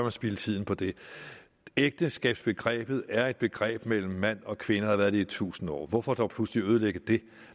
at spilde tiden på det ægteskabsbegrebet er et begreb mellem mand og kvinde og har været det i tusind år hvorfor dog pludselig ødelægge det